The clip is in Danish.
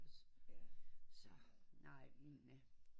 Så nej men øh